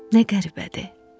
Nə qəribədir.